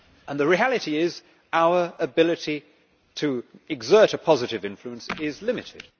The reality is that our ability to exert a positive influence is limited.